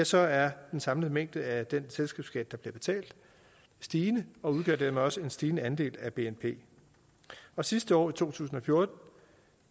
så er den samlede mængde af den selskabsskat der bliver betalt stigende og udgør dermed også en stigende andel af bnp sidste år i to tusind og fjorten